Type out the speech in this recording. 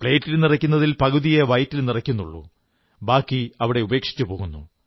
പ്ലേറ്റിൽ നിറയ്ക്കുന്നതിൽ പകുതിയേ വയറ്റിൽ നിറയ്ക്കുന്നുള്ളൂ ബാക്കി അവിടെ ഉപേക്ഷിച്ചു പോകുന്നു